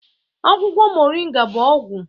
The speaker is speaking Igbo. Akwụkwọ moringa bụ ọgwụ